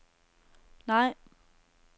nej